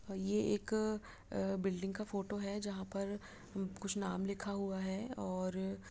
ये एक बिल्डिंग का फोटो है। जहाँ पर कुछ नाम लिखा हुआ है और --